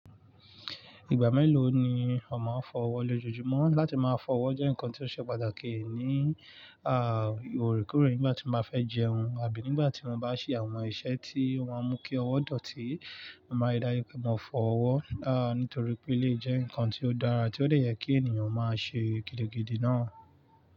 Ìgbà mélòó ni o maa n fọ́ ọwọ́ lọ lojoojumo? Látí máa fọ́ ọwọ́ jẹ́ ǹkan tí ó ṣe pàtàkì ní, oorekóorè nígbà tí mo bá fẹ́ jẹun abí nígbà tí mo bá ṣe àwọn iṣẹ́ tí o maa n mú kí ọwọ́ dọ̀tí. Mo máa rii dájú pé mo fọ ọwọ́, nítorí pé eléyi jẹ́ ǹkan tí ó dára tí ó dè yẹ kí ènìyàn máa ṣe gidigidi náà.